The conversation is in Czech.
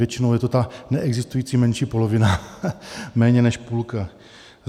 Většinou je to ta neexistující menší polovina, méně než půlka.